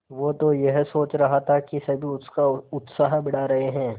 वो तो यह सोच रहा था कि सभी उसका उत्साह बढ़ा रहे हैं